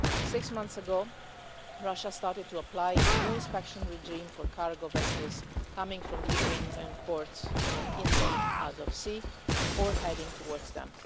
Six months ago, Russia started to apply a new inspection regime for cargo vessels coming from Ukrainian ports in the Azov Sea or heading towards them.